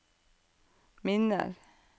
minner